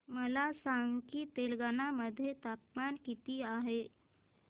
मला सांगा की तेलंगाणा मध्ये तापमान किती आहे